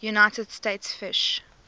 united states fish